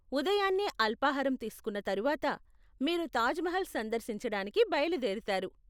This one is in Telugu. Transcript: ఉదయాన్నే అల్పాహారం తీసుకున్న తరువాత మీరు తాజ్ మహల్ సందర్శించడానికి బయలుదేరుతారు.